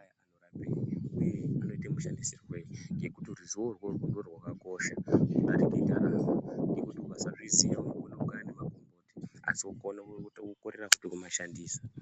aya anorapei uye anoita mashandisirwei ngekuti rizvo irworwo ndorwakakosha, kudarika ndaramo ngekuti ikasaziya izvozvo unokona kukaya magomboti asi wokorera futi kumashandisa.